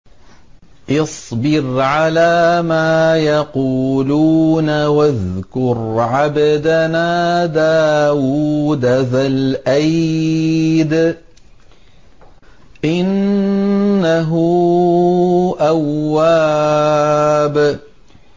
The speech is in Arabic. اصْبِرْ عَلَىٰ مَا يَقُولُونَ وَاذْكُرْ عَبْدَنَا دَاوُودَ ذَا الْأَيْدِ ۖ إِنَّهُ أَوَّابٌ